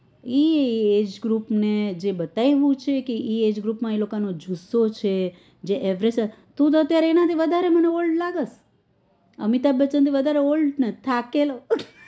ઇ એજ group ને જો બધા એવું પુછે કે ઇ એજ ગ્રુપ માં એ લોકો ને જુસ્સો છે જે તું તો અત્યારે એના થી વધારે મને old લાગે છે અમિતાબ બચન થી વધારે old અને થાકેલો